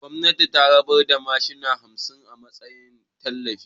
Gwamnati ta rabar da mashina hamsin a matsayin tallafi